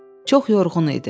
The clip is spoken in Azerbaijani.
Çox yorğun idi.